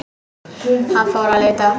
Hann fór að leita.